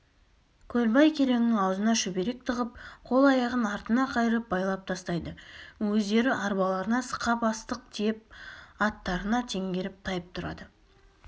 көлбай кереңнің аузына шүберек тығып қол-аяғын артына қайырып байлап тастайды өздері арбаларына сықап астық тиеп аттарына теңгеріп тайып тұрады